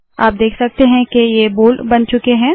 आप देख सकते है के ये बोल्ड बन चुके है